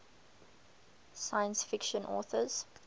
science fiction authors